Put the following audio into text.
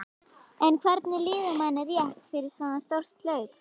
En hvernig líður manni rétt fyrir svo stórt hlaup?